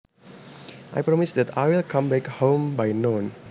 I promise that I will come back home by noon